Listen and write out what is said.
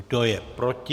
Kdo je proti?